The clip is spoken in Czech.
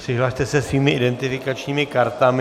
Přihlaste se svými identifikačními kartami.